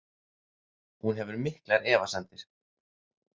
Hún hefur miklar efasemdir.